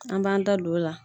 An b'an da don la